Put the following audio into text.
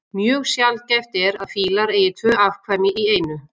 Mjög sjaldgæft er að fílar eigi tvö afkvæmi í einu.